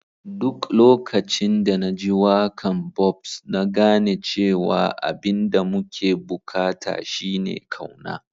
Duk lokacin da na ji waka'n Bob'S, na gane cewa abin da muke bukata shine kauna.